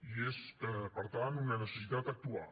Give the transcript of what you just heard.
i és per tant una necessitat actuar